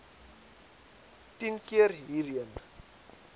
tien keer hierheen